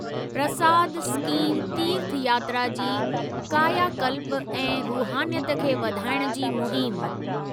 प्रसाद scheme तीर्थयात्रा जी कायाकल्प ऐं रूहानीयत खे वधाइण जी मुहिम